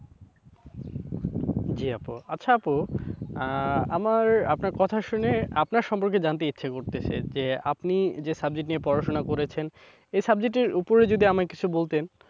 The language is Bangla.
জি আপু। আচ্ছা আপু আহ আমার আপনার কথা শুনে আপনার সম্পর্কে জানতে ইচ্ছা করতেছে, যে আপনি যে subject নিয়ে পড়াশোনা করেছেন এই subject এর ওপরে যদি আমায় কিছু বলতেন।